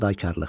Fədakarlıq.